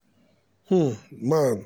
um nan